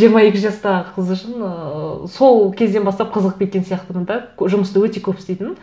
жиырма екі жастағы қыз үшін ыыы сол кезден бастап қызығып кеткен сияқтымын да жұмысты өте көп істейтінмін